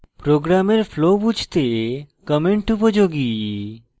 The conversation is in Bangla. program flow বুঝতে comments উপযোগী